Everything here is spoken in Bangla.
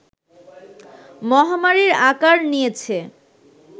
মহামারীর আকার নিয়েছে